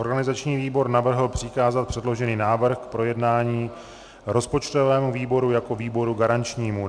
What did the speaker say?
Organizační výbor navrhl přikázat předložený návrh k projednání rozpočtovému výboru jako výboru garančnímu.